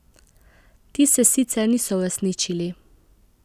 Ti se sicer niso uresničili.